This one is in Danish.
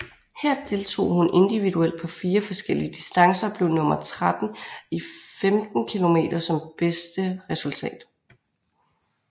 Her deltog hun individuelt på fire forskellige distancer og blev nummer 13 i 15 km som bedste resultat